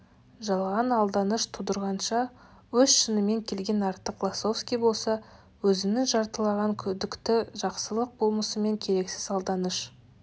жалған алданыш тудырғанша өз шынымен келген артық лосовский болса өзінің жартылаған күдікті жақсылық болмысымен керексіз алданыш